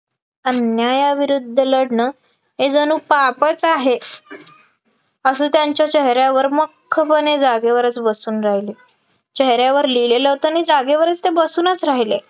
अन्यायाविरुद्ध लढणं हे जणू पापच आहे, अस त्यांच्या चेहऱ्यावर मख्खपणे जागेवरच बसून राहिले चेहऱ्यावर लिहिलेलं होतं आणि जागेवरच ते बसूनच राहिले